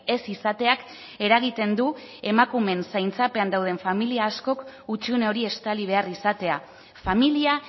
ez izateak eragiten du emakumeen zaintzapean dauden familia askok hutsune hori estali behar izatea familia